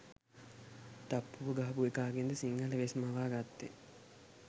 තප්පුව ගහපු එකාගෙන්ද සිංහල වෙස් මවා ගත්තේ